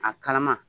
A kalama